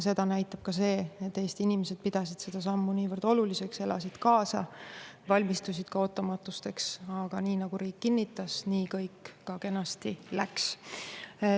Seda näitab ka see, et Eesti inimesed pidasid seda sammu niivõrd oluliseks, elasid kaasa, valmistusid ootamatusteks, aga nii nagu riik kinnitas, nii kõik ka kenasti läks.